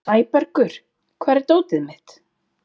Sæbergur, hvar er dótið mitt?